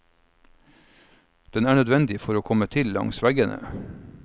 Den er nødvendig for å komme til langs veggene.